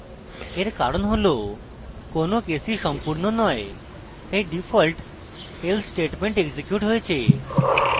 এর কারণ হল কোনো কেসই সম্পূর্ণ নয় তাই ডিফল্ট else statement এক্সিকিউট হয়েছে